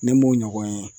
Ne m'o ɲɔgɔn ye